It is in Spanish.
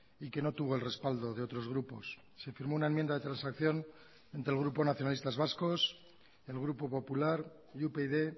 y que no tuvo el respaldo de otros grupos se firmó una enmienda de transacción entre el grupo nacionalistas vascos el grupo popular y upyd